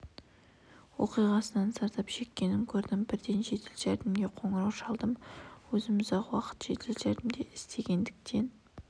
оқиғасынан зардап шеккенін көрдім бірден жедел жәрдемге қоңырау шалдым өзім ұзақ уақыт жедел жәрдемде істегендіктен